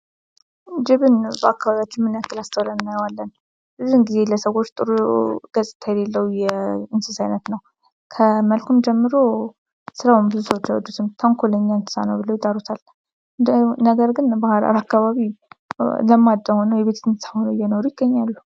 ጅብ በአካባቢያችን ምን ያክል አስተውለን አናየዋለን? ብዙን ጊዜ ለሰዎች ጥሩ ገጽታ የሌለው እንስሳ አይነት ነው። ከመልኩም ጀምሮ ስራውን ብዙ ሰዎች አይወዱትም ተንኮለኛና እንስሳ ነው ብለው ይጠሩታል። ነገርግን በሀረር አካባቢ ለማዳ ሆኖ የቤት እንስሳ ሆኖ እየኖሩ ይገኛሉ።